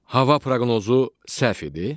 Hava proqnozu səhv idi?